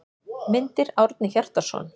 Myndir: Árni Hjartarson.